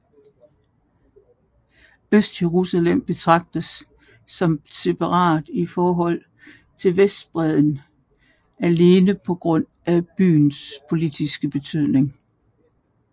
Østjerusalem betragtes som separat i forhold til Vestbredden alene på grund af byens politiske betydning